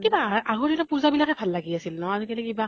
কিন্তু আগৰ দিনৰ পুজা বিলাকে ভাল লাগি আছিল ন। আজি কালি কিবা